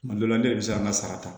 Kuma dɔ la ne de bɛ se ka an ka sara ta